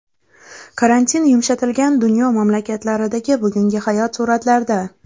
Karantin yumshatilgan dunyo mamlakatlaridagi bugungi hayot suratlarda.